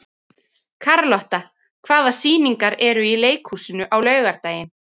Karlotta, hvaða sýningar eru í leikhúsinu á laugardaginn?